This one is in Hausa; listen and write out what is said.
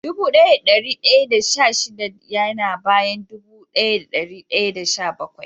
Dubu daya da dari daya da sha shida ya na bayan dubu daya da dari daya da sha-bakwai.